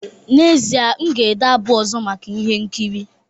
N'ezie, m ga-ede abụ ọzọ maka ihe nkiri